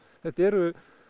þetta eru